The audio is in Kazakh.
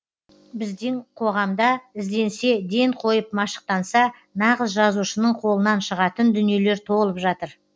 біздің қоғамда ізденсе ден қойып машықтанса нағыз жазушының қолынан шығатын дүниелер толып жатыр